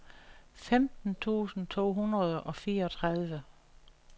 femten tusind to hundrede og fireogtredive